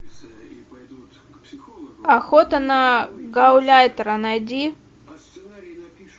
охота на гауляйтера найди